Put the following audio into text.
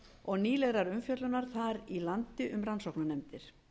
og nýlegrar umfjöllunar þar í landi um rannsóknarnefndir